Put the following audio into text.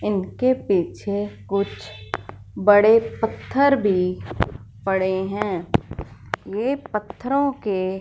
इनके पीछे कुछ बड़े पत्थर भी पड़े हैं ये पत्थरों के--